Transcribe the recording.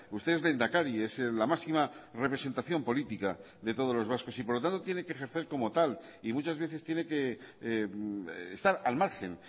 usted es lehendakari es la máxima representación política de todos los vascos y por lo tanto tiene que ejercer como tal y muchas veces tiene que estar al margen